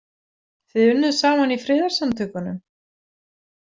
Þið unnuð saman í friðarsamtökunum?